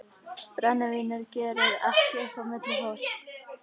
Brennivínið gerir ekki upp á milli fólks.